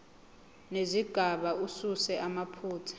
nezigaba asuse amaphutha